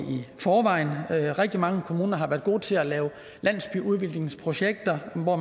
i forvejen rigtig mange kommuner har været gode til at lave landsbyudviklingsprojekter hvor